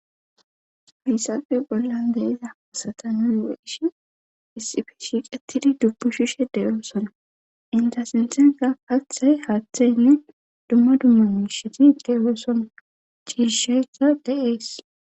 Haysafe bollan deiza asata nuweishi issifi shiqettidi dubbu shishe deoosona indasinsenza kathey haaththey nu dumma dumma miiisheti de7osona ciisheka de7ees